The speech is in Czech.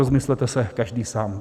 Rozmyslete se každý sám.